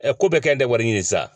ko bɛɛ kɛn tɛ wari ɲini sisan